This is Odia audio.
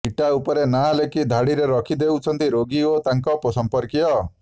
ଇଟା ଉପରେ ନାଁ ଲେଖି ଧାଡିରେ ରଖିଦେଉଛନ୍ତି ରୋଗୀ ଓ ତାଙ୍କ ସଂପର୍କୀୟ